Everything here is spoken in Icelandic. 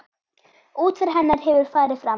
Útför hennar hefur farið fram.